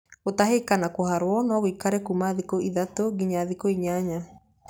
Gũtahĩka na kũharwo no gũikare kuma thikũ ithatũ nginya thikũ inyanya.